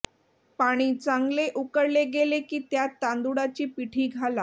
पाणी चांगले उकळले गेले की त्यात तांदुळाची पिठी घाला